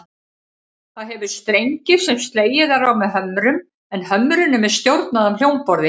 Það hefur strengi sem slegið er á með hömrum, en hömrunum er stjórnað af hljómborði.